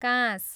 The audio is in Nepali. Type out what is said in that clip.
काँस